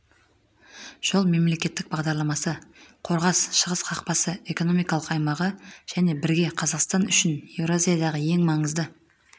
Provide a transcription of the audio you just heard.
жол мемлекеттік бағдарламасы қорғас шығыс қақпасы экономикалық аймағы және бірге қазақстан үшін еуразиядағы ең маңызды